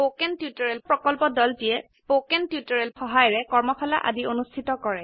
spoken tutorial প্ৰকল্পৰ দলটিয়ে কথন শিক্ষণ সহায়িকাৰে কৰ্মশালা আদি অনুষ্ঠিত কৰে